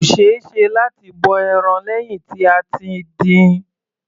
Kò ṣeéṣe láti bọ ẹran lẹ́hìn tí a ti dín-in.